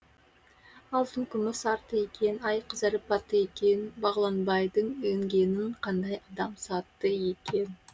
алтын күміс артты екен ай қызарып батты екен бағланбайдың інгенін қандай адам сатты екен